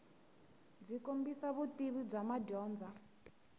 byi kombisa vutivi bya madyondza